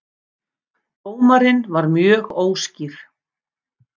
Dómarinn var mjög óskýr